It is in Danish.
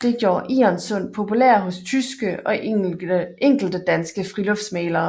Det gjorde Egernsund populær hos tyske og enkelte danske friluftsmalere